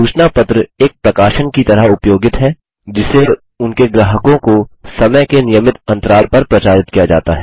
सूचना पत्र एक प्रकाशन की तरह उपयोगित है जिसे उनके ग्राहकों को समय के नियमित अन्तराल पर प्रचारित किया जाता है